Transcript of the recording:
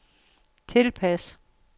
tilpas